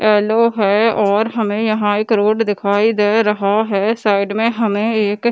yellow है और हमें यहां एक रोड दिखाई दे रहा है साइड में हमे एक --